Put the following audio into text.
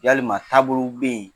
Yalima taa bolow be yen